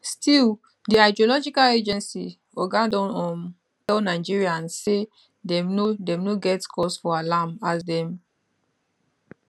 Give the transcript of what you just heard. still di hydrological agency oga don um tell nigerians say dem no dem no get cause for alarm as dem